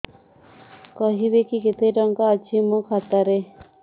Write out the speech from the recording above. କହିବେକି କେତେ ଟଙ୍କା ଅଛି ମୋ ଖାତା ରେ